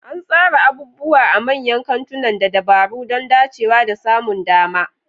An tsara abubuwa a manyan kantunan da dabaru don dacewa da samun dama.